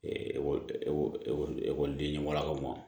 ekɔlidenw lakaw